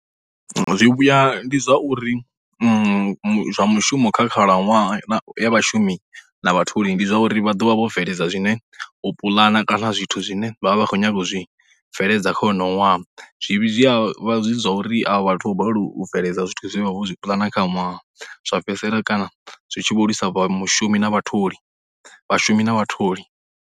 Zwivhuya ndi zwa uri zwa mushumo kha khalaṅwaha ya vhashumi na vhatholi ndi zwa uri vha ḓo vha vho bveledza zwine u puḽana kana zwithu zwine vha vha vha khou nyaga u zwi bveledza kha honoho ṅwaha, zwivhi zwi ya vha zwi zwa uri a vha vhathu vho ri u bveledza zwithu zwe vha vha vho zwi puḽana zwa fhedzisela kana zwi tshi vho lwisa mushumi na vhatholi, vhashumi na vhatholi.